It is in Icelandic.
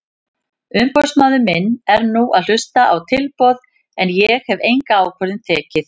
Umboðsmaður minn er nú að hlusta á tilboð en ég hef enga ákvörðun tekið.